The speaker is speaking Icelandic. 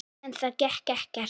En það gekk ekkert.